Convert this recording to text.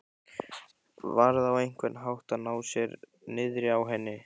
Varð á einhvern hátt að ná sér niðri á henni.